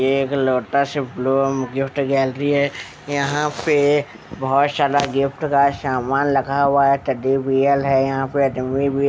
ये एक लोटस से गैलरी एक यहाँ पे बहुत सारा गिफ्ट का सामान लखा हुआ है टेडी बियल यहाँ पे डमी भी --